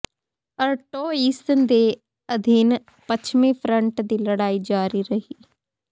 Artois ਦੇ ਅਧੀਨ ਪੱਛਮੀ ਫਰੰਟ ਦੀ ਲੜਾਈ ਜਾਰੀ ਰਹੀ